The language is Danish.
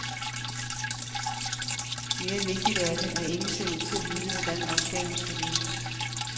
Mere vigtigt er det, at ingen ser ud til at vide, hvordan opgaven skal løses.